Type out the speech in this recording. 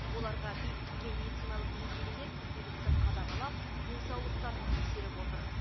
оларға бекітілген медициналық мекемелер күнделікті қадағалап денсаулықтарын тексеріп отыр